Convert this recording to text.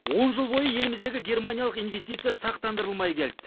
он жыл бойы еліміздегі германиялық инвестиция сақтандырылмай келді